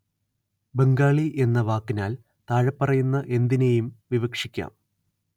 ബംഗാളി എന്ന വാക്കിനാല്‍ താഴെപ്പറയുന്ന എന്തിനേയും വിവക്ഷിക്കാം